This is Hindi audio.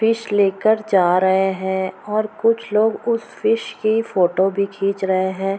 फिश लेकर जा रहे हैं और कुछ लोग उस फिश की फोटो भी खींच रहे हैं।